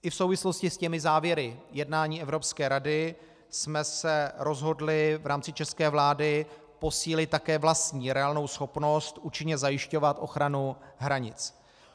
I v souvislosti s těmi závěry jednání Evropské rady jsme se rozhodli v rámci české vlády posílit také vlastní reálnou schopnost účinně zajišťovat ochranu hranic.